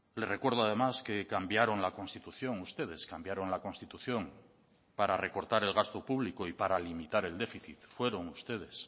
le recuerdo además que cambiaron la constitución ustedes cambiaron la constitución para recortar el gasto público y para limitar el déficit fueron ustedes